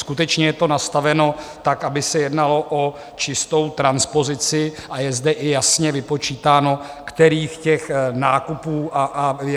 Skutečně je to nastaveno tak, aby se jednalo o čistou transpozici, a je zde i jasně vypočítáno, kterých těch nákupů se to týká.